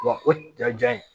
Wa o ja in